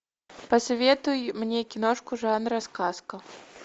посоветуй мне киношку жанра сказка